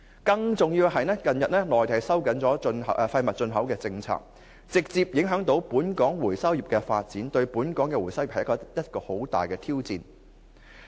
更重要是，內地近日收緊廢物進口政策，直接影響本港回收業的發展，對本港回收業而言，這是一大挑戰。